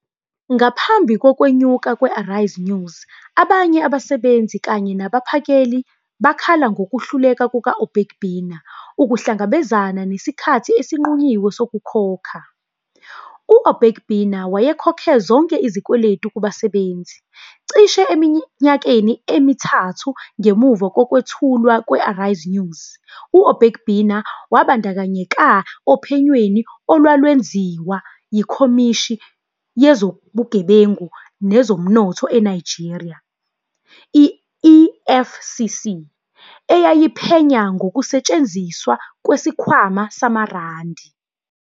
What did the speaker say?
Ngaphambi kokwenyuka kwe- Arise News, abanye abasebenzi kanye nabaphakeli bakhala ngokuhluleka kuka-Obaigbena ukuhlangabezana nesikhathi esinqunyiwe sokukhokha. U-Obaigbena wayekhokhe zonke izikweletu kubasebenzi. Cishe eminyakeni emithathu ngemuva kokwethulwa kwe-Arise News, u-Obaigbena wabandakanyeka ophenyweni olwalwenziwa yiKhomishini Yezobugebengu Nezomnotho eNigeria, i-EFCC, eyayiphenya ngokusetshenziswa kwesikhwama samaRandi